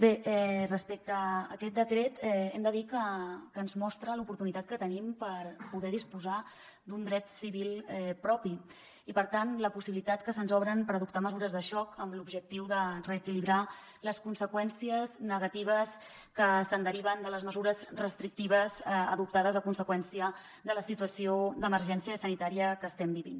bé respecte a aquest decret hem de dir que ens mostra l’oportunitat que tenim per poder disposar d’un dret civil propi i per tant la possibilitat que se’ns obre per adoptar mesures de xoc amb l’objectiu de reequilibrar les conseqüències negatives que es deriven de les mesures restrictives adoptades a conseqüència de la situació d’emergència sanitària que estem vivint